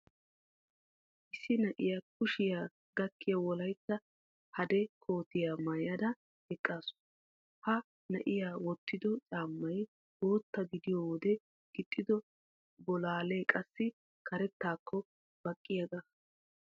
Issi na'iya kushiya gakkiya Wolaytta hade kootiya maayada eqqaasu. Ha na'iya wottido caammay bootta gidiyo wode gixxido bolaalee qassi karettaakko baqqiyaaga.